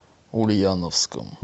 ульяновском